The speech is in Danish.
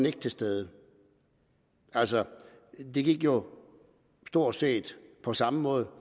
ikke til stede altså det gik jo stort set på samme måde